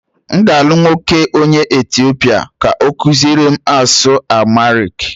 M ga-alụ nwoke onye Etiopia ka ọ kụziere m asụsụ Amharic